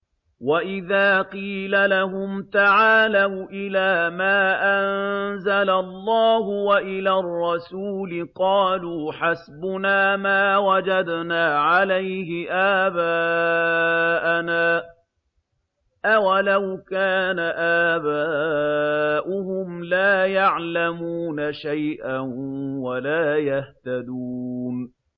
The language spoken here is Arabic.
وَإِذَا قِيلَ لَهُمْ تَعَالَوْا إِلَىٰ مَا أَنزَلَ اللَّهُ وَإِلَى الرَّسُولِ قَالُوا حَسْبُنَا مَا وَجَدْنَا عَلَيْهِ آبَاءَنَا ۚ أَوَلَوْ كَانَ آبَاؤُهُمْ لَا يَعْلَمُونَ شَيْئًا وَلَا يَهْتَدُونَ